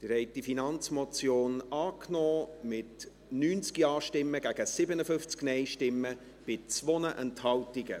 Sie haben diese Finanzmotion angenommen, mit 90 Ja- gegen 57 Nein-Stimmen bei 2 Enthaltungen.